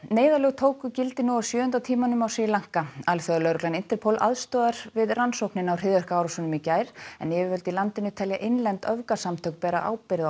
neyðarlög tóku gildi nú á sjöunda tímanum á Sri Lanka alþjóðalögreglan Interpol aðstoðar við rannsókn á hryðjuverkaárásunum í gær en yfirvöld í landinu telja innlend öfgasamtök bera ábyrgð